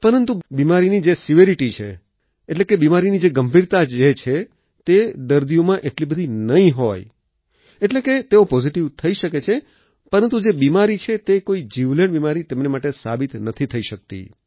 પરંતુ બિમારીની જે સેવરિટી છે એટલે કે બિમારીની ગંભીરતા જે છે તે દર્દીઓમાં એટલી બધી નહીં હોય એટલે કે તેઓ પોઝીટીવ થઈ શકે છે પરંતુ જે બિમારી છે તે એક જીવલેણ બિમારી તેમને માટે સાબિત નથી થઈ શકતી